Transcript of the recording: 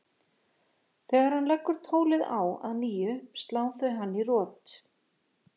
Þegar hann leggur tólið á að nýju slá þau hann í rot.